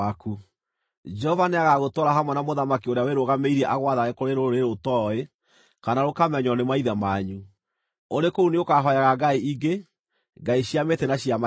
Jehova nĩagagũtwara hamwe na mũthamaki ũrĩa wĩrũgamĩirie agwathage kũrĩ rũrĩrĩ ũtooĩ kana rũkamenywo nĩ maithe manyu. Ũrĩ kũu nĩũkahooyaga ngai ingĩ, ngai cia mĩtĩ na cia mahiga.